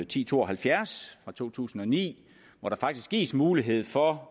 ti to og halvfjerds fra to tusind og ni hvor der faktisk gives mulighed for